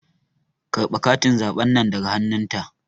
Karɓe katin zaɓen nan daga hannun ta